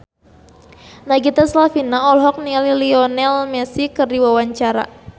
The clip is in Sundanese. Nagita Slavina olohok ningali Lionel Messi keur diwawancara